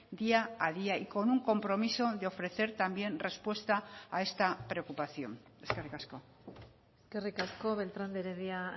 día a día y con un compromiso de ofrecer también respuesta a esta preocupación eskerrik asko eskerrik asko beltrán de heredia